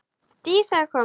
Dísa er komin!